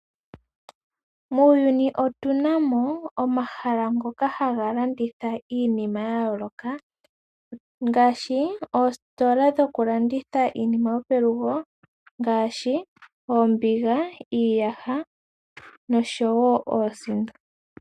Muuyuni otu na mo omahala ngoka haga landitha iinima ya yooloka ngaashi: oositola ndhoka dhokulanditha iinima yopelugo ngaashi: oombiga, iiyaha nosho wo oosindo.